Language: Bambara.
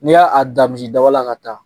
N'i ya a dan misidaba la ka taa